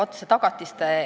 Aitäh!